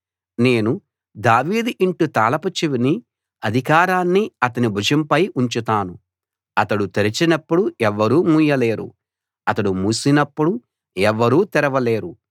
నేను దావీదు ఇంటి తాళపు చెవిని అధికారాన్ని అతని భుజంపై ఉంచుతాను అతడు తెరచినప్పుడు ఎవ్వరూ మూయలేరు అతడు మూసినప్పుడు ఎవ్వరూ తెరవలేరు